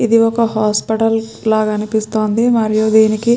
ఇది ఒక హాస్పిటల్ లాగా అనిపితుంది మరియు దీనికి --